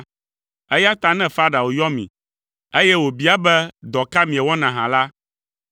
Eya ta ne Farao yɔ mi, eye wòbia be dɔ ka miewɔna hã la,